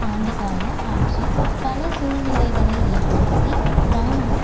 ஆண்டுகால ஆட்சி பல சூழ்நிலைகளை ஏற்படுத்தி இராணுவம்